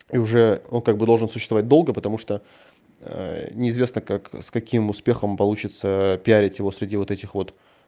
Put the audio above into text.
и уже он как бы уже должен существовать долго потому что неизвестно как с каким успехом получится пиарить его среди вот этих вот